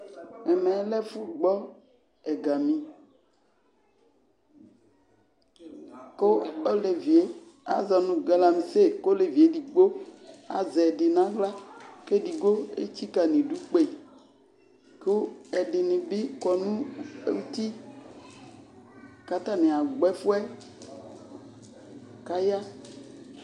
Ɛmɛ lɛ ɛfʋgbɔ ɛgami, kʋ olevi yɛ azɔ nʋ galamse, kʋ olevi yɛ edigbo azɛ ɛdɩ nʋ aɣla, kʋ edigbo etsikǝ nʋ idu kpe, kʋ ɛdɩnɩ bɩ kɔ nʋ uti, kʋ atanɩ agbɔ ɛfʋ yɛ, kʋ aya